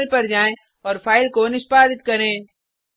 terminal पर जाएँ और फाइल को निष्पादित करें